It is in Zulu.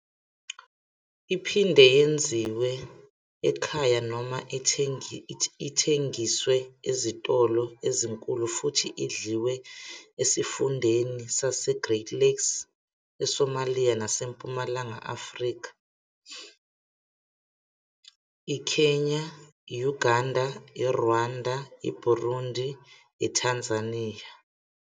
Iphinde yenziwe ekhaya noma ithengiswe ezitolo ezinkulu futhi idliwe esifundeni saseGreat Lakes eSomalia naseMpumalanga Afrika, IKenya, I-Uganda, IRwanda, IBurundi ITanzania.